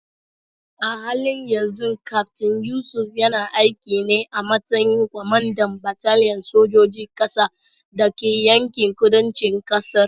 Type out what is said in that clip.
A halin yanzu Kaftin Yusuf yana aiki ne a matsayin kwamandan bataliyar sojojin ƙasa da ke yankin kudancin ƙasar.